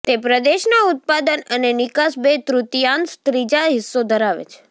તે પ્રદેશના ઉત્પાદન અને નિકાસ બે તૃતીયાંશ ત્રીજા હિસ્સો ધરાવે છે